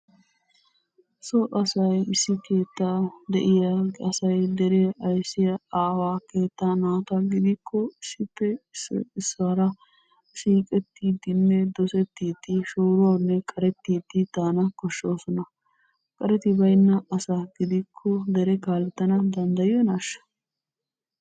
So asay issi keettaa de'iya asay deree aysiya aawaa keettaa naata gidikko issippe issoy issuwara siiqettiiddinne dosettiiddi shooruwawunne qarettiiddi daana koshshoosona. Qareti baynna asa gidikko dere kaalettana danddayiyonaashsha?